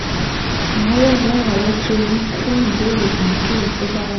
Màá wà lárọ̀ọ́wọ́tó yín fún ìbéèrè èyíkéyìí tó bá wà